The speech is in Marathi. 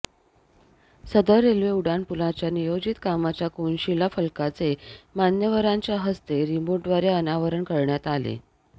सदर रेल्वे उड्डाणपुलाच्या नियोजित कामाच्या कोनशिला फलकाचे मान्यवरांच्या हस्ते रिमोटद्वारे अनावरण करण्यात आले